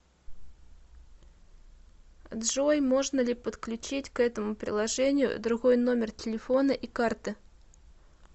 джой можно ли подключить к этому приложению другой номер телефона и карты